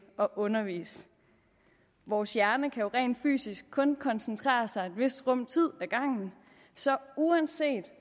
at undervise vores hjerne kan jo rent fysisk kun koncentrere sig i et vist rum tid ad gangen så uanset